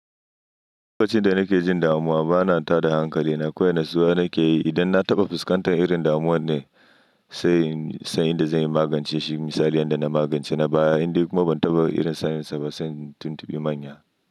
Lokacin da nake jin damuwa bana tada hankali. Na kawai natsuwa nake yi. Idan na taɓa fuskantar irin damuwan ne sai in san yanda zan yi magance shi. Misali inda na magance na baya indai kuma ban taɓa irin saninsa ba sai in tuntubi manya.